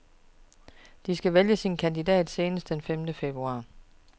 De skal vælge sin kandidat senest den femte februar.